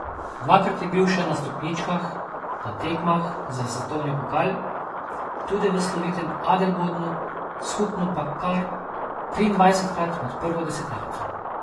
Dvakrat je bil še na stopničkah na tekmah za svetovni pokal, tudi v slovitem Adelbodnu, skupno pa kar triindvajsetkrat med prvo deseterico.